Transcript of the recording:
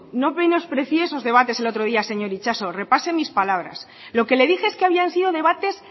no menosprecie esos debates el otro día señor itxaso repase mis palabras lo que le dije es que habían sido debates